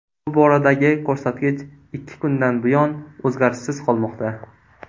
Bu boradagi ko‘rsatkich ikki kundan buyon o‘zgarishsiz qolmoqda.